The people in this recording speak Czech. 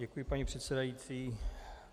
Děkuji, paní předsedající.